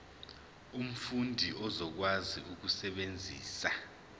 umfundi uzokwazi ukusebenzisa